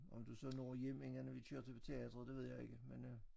Om du så når hjem inden vi kører til teateret det ved jeg ikke men øh